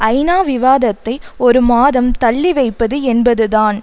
ஐநா விவாதத்தை ஒரு மாதம் தள்ளி வைப்பது என்பது தான்